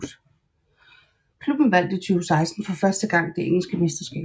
Klubben vandt i 2016 for første gang det engelske mesterskab